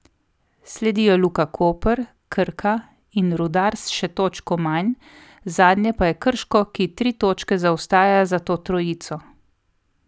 Sledijo Luka Koper, Krka in Rudar s še točko manj, zadnje pa je Krško, ki tri točke zaostaja za to trojico.